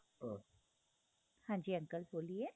ਹਾਂਜੀ uncle ਬੋਲੀਏ